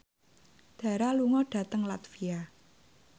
Dara lunga dhateng latvia